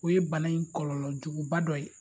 O ye bana in kɔlɔlɔjuguba dɔ ye.